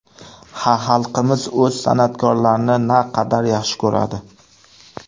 Ha, xalqimiz o‘z san’atkorlarini naqadar yaxshi ko‘radi!